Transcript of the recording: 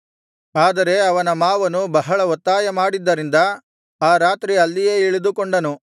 ಆದರೆ ಅವನ ಮಾವನು ಬಹಳ ಒತ್ತಾಯ ಮಾಡಿದ್ದರಿಂದ ಆ ರಾತ್ರಿ ಅಲ್ಲಿಯೇ ಇಳಿದುಕೊಂಡನು